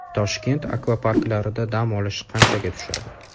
Toshkent akvaparklarida dam olish qanchaga tushadi?.